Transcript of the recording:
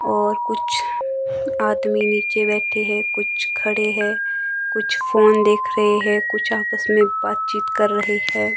और कुछ आदमी नीचे बैठे हैं कुछ खड़े हैं कुछ फोन देख रहे हैं कुछ आपस में बातचीत कर रहे हैं।